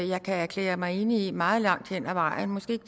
jeg kan erklære mig enig i meget langt hen ad vejen måske ikke